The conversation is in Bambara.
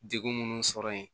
Degun minnu sɔrɔ yen